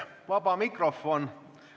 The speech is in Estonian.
Vaba mikrofon.